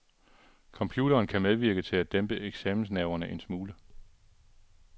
Computeren kan medvirke til at dæmpe eksamensnerverne en smule.